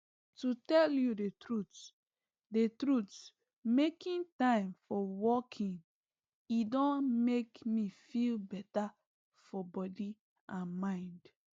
to tell you the truth the truth making time for walking e don make me feel better for body and mind